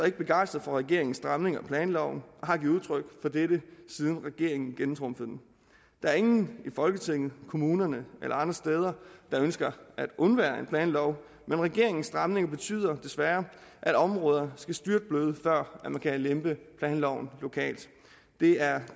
ikke begejstret for regeringens stramning af planloven og har givet udtryk for dette siden regeringen gennemtrumfede den der er ingen i folketinget i kommunerne eller andre steder der ønsker at undvære en planlov men regeringens stramning betyder desværre at områder skal styrtbløde før man kan lempe planloven lokalt det er